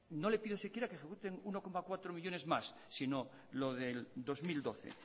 no le pido siquiera que ejecuten uno coma cuatro millónes más sino lo del dos mil doce